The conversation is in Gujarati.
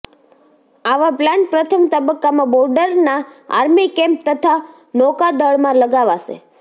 આવા પ્લાન્ટ પ્રથમ તબક્કામાં બોર્ડરના આર્મી કેમ્પ તથા નૌકાદળમાં લગાવાશે